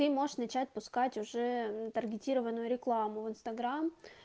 ты можешь начать пускать уже мм таргетированную рекламу в инстаграм